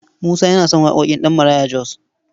Musa yana son waƙoƙin Ɗabmaraya Jos.